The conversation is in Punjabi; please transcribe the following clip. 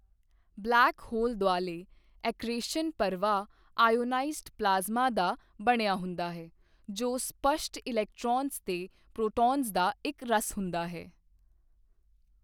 ਬਲੈਕ ਹੋਲ ਦੁਆਲੇ ਐਕ੍ਰੀਸ਼ਨ ਪ੍ਰਵਾਹ ਆਇਓਨਾਇਜ਼ਡ ਪਲਾਜ਼ਮਾ ਦਾ ਬਣਿਆ ਹੁੰਦਾ ਹੈ, ਜੋ ਸਪੱਸ਼ਟ ਇਲੈਕਟ੍ਰੌਨਜ਼ ਤੇ ਪ੍ਰੋਟੋਨਜ਼ ਦਾ ਇੱਕ ਰਸ ਹੁੰਦਾ ਹੈ।